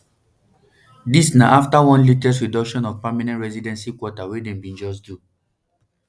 dis na afta one latest reduction of permanent residency quota wey dem bin just do